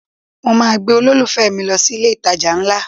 Mo máa gbé olólùfẹ́ mi lọ sí ilé-ìtajà ńlá